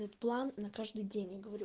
план на каждый день я говорю